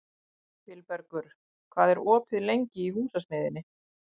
Vilbergur, hvað er opið lengi í Húsasmiðjunni?